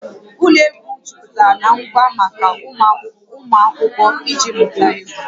Ụlọ egwu jupụtara na ngwa maka ụmụ akwụkwọ iji mụta egwu